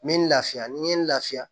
N bɛ n lafiya ni n ye n lafiya